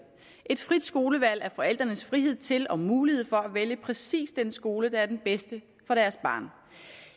et frit skolevalg er forældrenes frihed til og mulighed for at vælge præcis den skole der er den bedste for deres barn